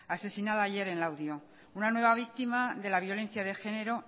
asesinada ayer en laudio una nueva víctima de la violencia de género